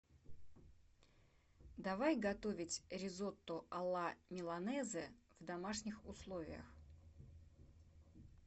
давай готовить ризотто алла миланезе в домашних условиях